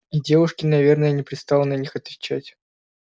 и девушке наверное не пристало на них отвечать